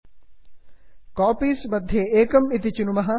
copies copies मध्ये एकम् इति चिनुमः